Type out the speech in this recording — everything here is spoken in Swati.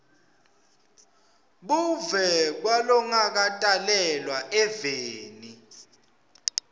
buve kwalongakatalelwa eveni